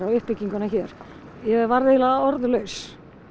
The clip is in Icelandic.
uppbygginguna hér ég varð eiginlega orðlaus